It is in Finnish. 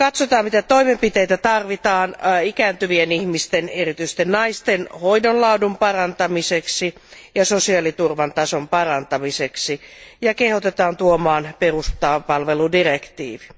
Katsotaan, mitä toimenpiteitä tarvitaan ikääntyvien ihmisten, erityisesti naisten hoidon laadun parantamiseksi ja sosiaaliturvan tason parantamiseksi, ja kehotetaan laatimaan peruspalveludirektiivi.